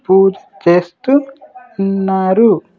పూజ చేస్తూ ఉన్నారు.